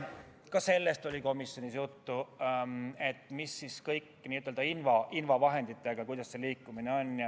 Ka sellest oli komisjonis juttu, kuidas käsitleda invavahenditega liikumist.